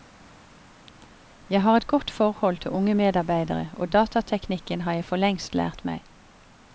Jeg har et godt forhold til unge medarbeidere og datateknikken har jeg forlengst lært meg.